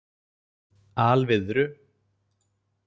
Alviðru